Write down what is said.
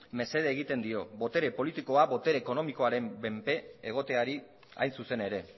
mesede egiten dio botere politikoa botere ekonomikoaren menpe egoteari hain zuzen ere